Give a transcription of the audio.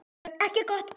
Ekki gott.